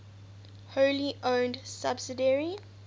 wholly owned subsidiary